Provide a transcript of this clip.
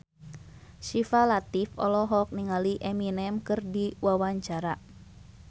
Syifa Latief olohok ningali Eminem keur diwawancara